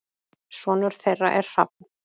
Sonur þeirra er Hrafn.